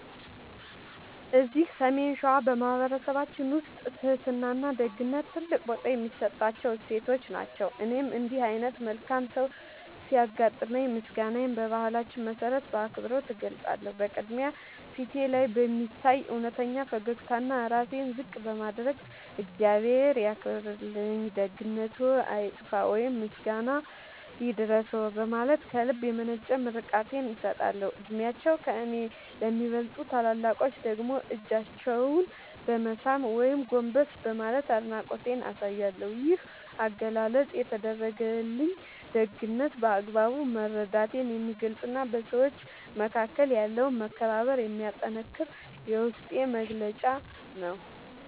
እዚህ ሰሜን ሸዋ በማኅበረሰባችን ውስጥ ትሕትናና ደግነት ትልቅ ቦታ የሚሰጣቸው እሴቶች ናቸው። እኔም እንዲህ ዓይነት መልካም ሰው ሲያጋጥመኝ ምስጋናዬን በባህላችን መሠረት በአክብሮት እገልጻለሁ። በቅድሚያ፣ ፊቴ ላይ በሚታይ እውነተኛ ፈገግታና ራሴን ዝቅ በማድረግ "እግዚአብሔር ያክብርልኝ፣ ደግነትዎ አይጥፋ" ወይም "ምስጋና ይድረስዎ" በማለት ከልብ የመነጨ ምርቃቴን እሰጣለሁ። ዕድሜያቸው ከእኔ ለሚበልጡ ታላላቆች ደግሞ እጃቸውን በመሳም ወይም ጎንበስ በማለት አድናቆቴን አሳያለሁ። ይህ አገላለጽ የተደረገልኝን ደግነት በአግባቡ መረዳቴን የሚገልጽና በሰዎች መካከል ያለውን መከባበር የሚያጠነክር የውስጤ መግለጫ ነው።